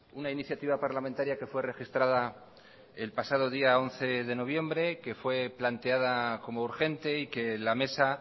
una iniciativa parlamentaria que fue registrada el pasado día once de noviembre que fue planteada como urgente y que la mesa